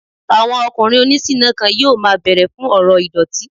Àwọn ọkùnrin oní ṣiná kan yóò máa bẹ̀rẹ̀ fún ọ̀rọ̀ ìdọ̀tí